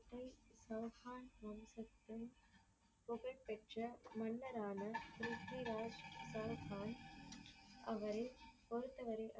சவுகான் ராம் ராஜ் சிங் புகழ் பெற்ற மன்னரான ப்ரித்விராஜ் சவுகான் அவரை பொறுத்தவரை